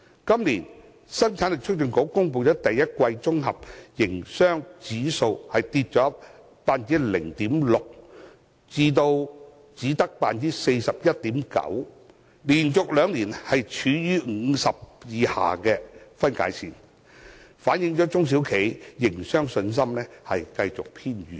今年，香港生產力促進局公布的第一季綜合營商指數下跌 0.6% 至 41.9， 連續兩年處於50分界線以下，反映中小企的營商信心持續偏軟。